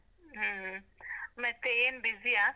ಹ್ಮ್, ಮತ್ತೆ ಏನ್ busy ಯಾ?